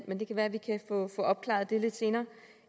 men det kan være vi kan få opklaret det lidt senere